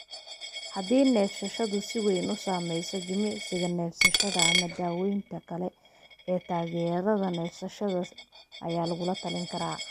Haddii neefsashadu si weyn u saamayso, jimicsiga neefsashada ama daaweynta kale ee taageerada neefsashada ayaa lagu talin karaa.